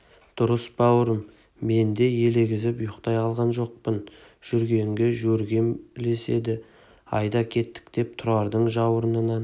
дұрыс бауырым мен де елегізіп ұйықтай алған жоқпын жүргенге жөргем ілеседі айда кеттік деп тұрардың жауырынынан